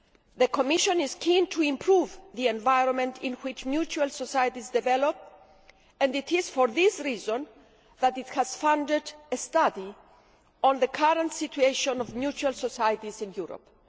The Commission is keen to improve the environment in which mutual societies develop and it is for this reason that it has funded a study on the current situation of mutual societies in Europe.